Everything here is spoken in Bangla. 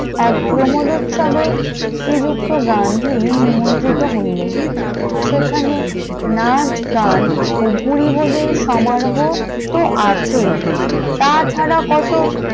এক প্রমদ উৎসবের শ্রীযুক্ত গান্ধী নিমন্ত্রিত হইলেন, সেখানে নাচ গান ও ভুরিভজের সমরাহত্ব আছে তাছাড়া কত